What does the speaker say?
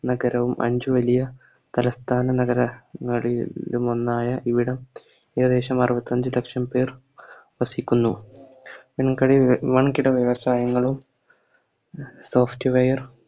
നഗരവും അഞ്ച് വലിയ തലസ്ഥാന നഗര ങ്ങാളിയിലുമൊന്നായ ഇവിടം ഏകദേശം അറുപത്തഞ്ച് ലക്ഷം പേർ വസിക്കുന്നു നിങ്ങക്കറിയ വൻകിട വ്യവസായങ്ങളും Software